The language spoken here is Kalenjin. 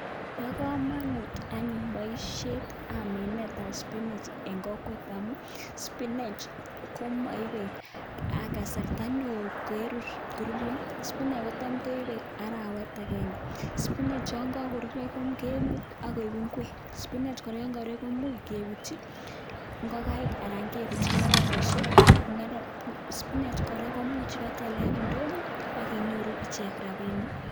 Bo kamunut anyun boisiet ab minet ab spinach en kokwet amun spinach komoibe kasarta neo koruryo. Spinach kotam koibe arawet agenge, spinach yon ko koruryo kebute koik ngwek, spinach kora yon koruryo komuch kebutyi ngokaik koik ngwek anan kebutyi ng'ororosiek akoimuch bakyalda en ndonyo akinyoru rapisiek.